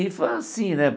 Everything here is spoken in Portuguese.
Rifa, sim, né?